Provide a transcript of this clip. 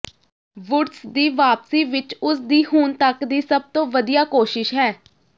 Woods ਦੀ ਵਾਪਸੀ ਵਿੱਚ ਉਸ ਦੀ ਹੁਣ ਤੱਕ ਦੀ ਸਭ ਤੋਂ ਵਧੀਆ ਕੋਸ਼ਿਸ਼ ਹੈ